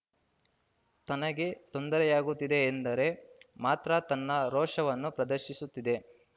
ತನಗೆ ತೊಂದರೆಯಾಗುತ್ತಿದೆ ಎಂದರೆ ಮಾತ್ರ ತನ್ನ ರೋಷವನ್ನು ಪ್ರದರ್ಶಿಸುತ್ತಿದೆ